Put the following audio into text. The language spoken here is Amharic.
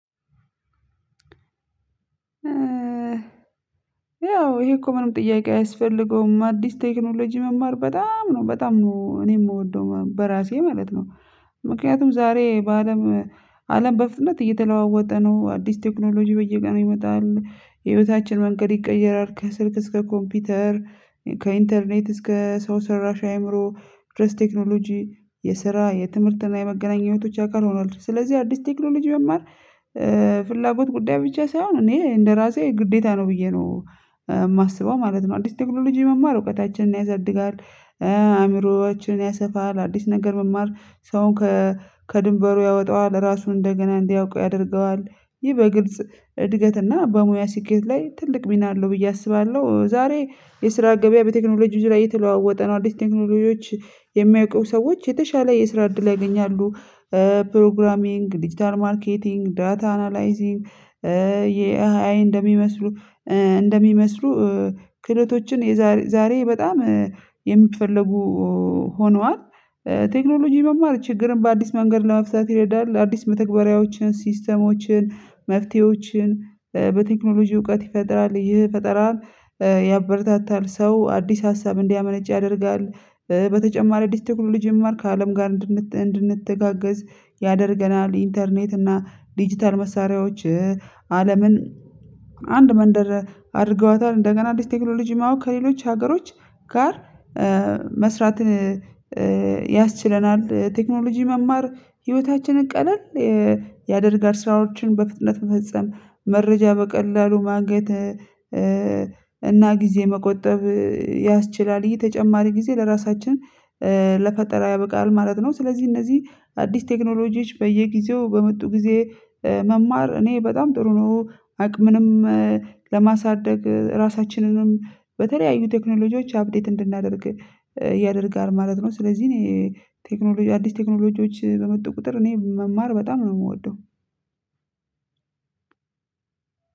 ያው ይሄ እኮ ምንም ጥያቄ አያስፈልገውም አዲስ ቴክኖሎጂ መማር በጣም ነው በጣም እኔ የምወደው በራሴ ማለት ነው። ምክንያቱም ዛሬ በአለም አለም በፍጥነት እየተለዋወጠ ነው አዲስ ቴክኖሎጂ በየቀኑ ነው ይመጣል ህይወታችን መንገድ ይቀየራል ከስልክ እስከ ኮምፒውተር ከኢንተርኔት እስከ ሰው ሰራሽ አይምሮ ድረስ ቴክኖሎጂ የስራ የትምህርት እና የመገናኘቶች አካል ሆኗል ስለዚህ አዲስ ቴክኖሎጂ መማር ፍላጎት ጉዳይ ብቻ ሳይሆን እኔ እንደራሴ ግዴታ ነው ብዬ ነው የማስበው ማለት ነው። አዲስ ቴክኖሎጂ መማር እውቀታችንን ያሳድጋል አእምሮአችንን ያሰፋል አዲስ ነገር መማር ሰውን ከድንበሩ ያወጣዋል ራሱን እንደገና እንዲያውቁ ያደርገዋል ይህ በግልጽ እድገትና በሙያ ስኬት ላይ ትልቅ ሚና አለው ብዬ አስባለሁ። ዛሬ የስራ ገበያ በቴክኖሎጂ ዙሪያ እየተለዋወጠ ነው አዲስ ቴክኖሎጂዎች የሚያውቁ ሰዎች የተሻለ የስራ እድል ያገኛሉ። ፕሮግራሚንግ ዲጂታል ማርኬቲንግ ዳታ አናላይዚንግ የኤአይ እንደሚመስሉ እንደሚመስሉ ክህሎቶችን የዛሬ ዛሬ በጣም የሚፈልጉ ሆነዋል። ቴክኖሎጂ መማር ችግርን በአዲስ መንገድ ለመፍታት ይረዳል አዲስ መተግበሪያዎችን ሲስተሞችን መፍትሄዎችን በቴክኖሎጂ እውቀት ይፈጥራል ይህ ፈጠራን ያበረታታል ሰው አዲስ ሀሳብ እንዲያመነጭ ያደርጋል። በተጨማሪ አዲስ ቴክኖሎጂ መማር ከአለም ጋር እንድንተጋገዝ ያደርገናል ኢንተርኔት እና ዲጂታል መሳሪያዎች አለምን አንድ መንደር አድርገዋታል እንደገና እንደዚህ ቴክኖሎጂ ማወቅ ከሌሎች ሀገሮች ጋር መስራትን ያስችለናል። ቴክኖሎጂ መማር ህይወታችንን ቀለል ያደርጋል ስራዎችን በፍጥነት መፈጸም መረጃ በቀላሉ ማግኘት እና ጊዜ መቆጠብ ያስችላል ይሄ ተጨማሪ ጊዜ ለራሳችን ለፈጠራ ያበቃል ማለት ነው። ስለዚህ እነዚህ አዲስ ቴክኖሎጂዎች በየጊዜው በመጡ ጊዜ መማር እኔ በጣም ጥሩ ነው አቅምንም ለማሳደግ ራሳችንንም በተለያዩ ቴክኖሎጂዎች አብዴት እንድናደርግ ያደርጋል ማለት ነው። ስለዚህ እኔ ቴክኖሎጂ አዲስ ቴክኖሎጂዎች በመጡ ቁጥር እኔ መማር በጣም ነው የምወደው።